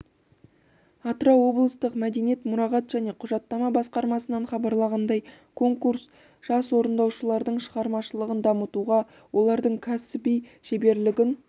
атырау облыстық мәдениет мұрағат және құжаттама басқармасынан хабарлағандай конкурс жас орындаушылардың шығармашылығын дамытуға олардың кәсіби шеберлігін